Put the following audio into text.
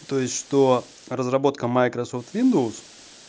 то есть что разработка майкрософт виндовс